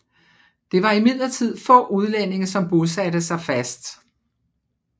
Det var imidlertid få udlændinge som bosatte sig fast